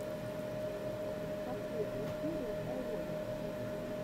последняя серия тай ворлд